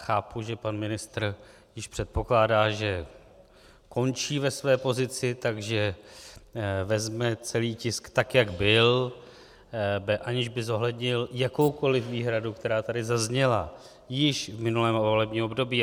Chápu, že pan ministr již předpokládá, že končí ve své pozici, takže vezme celý tisk tak, jak byl, aniž by zohlednil jakoukoli výhradu, která tady zazněla již v minulém volebním období.